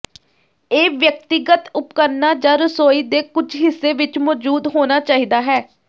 ਇਹ ਵਿਅਕਤੀਗਤ ਉਪਕਰਣਾਂ ਜਾਂ ਰਸੋਈ ਦੇ ਕੁਝ ਹਿੱਸੇ ਵਿੱਚ ਮੌਜੂਦ ਹੋਣਾ ਚਾਹੀਦਾ ਹੈ